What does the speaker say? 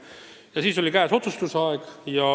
Ja siis oli käes otsustuste aeg.